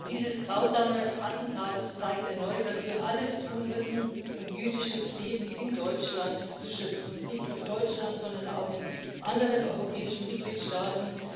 Dieses grausame Attentat zeigt erneut, dass wir alles tun müssen, um jüdisches Leben in Deutschland zu schützen, und nicht nur in Deutschland, sondern auch in anderen europäischen Mitgliedstaaten.